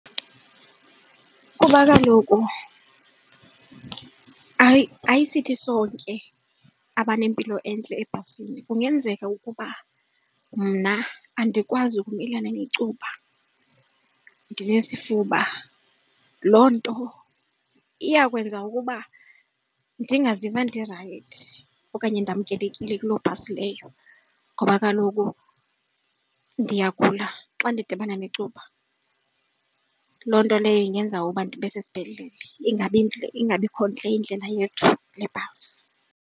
Kuba kaloku ayisithi sonke abanempilo entle ebhasini kungenzeka ukuba mna andikwazi ukumelana necuba ndinesifuba. Loo nto iya kwenza ukuba ndingaziva ndirayithi okanye namkelekile kulo bhasi leyo ngoba kaloku ukuba ndiyagula xa ndidibana necuba. Loo nto leyo ingenza abo ndibe sesibhedlele ingabi ingabikho ntle indlela yethu nebhasi.